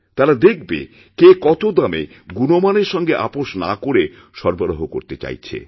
তারাদেখবে কে কত কম দামে গুণমানের সঙ্গে আপোষ না করে সরবরাহ করতে চাইছে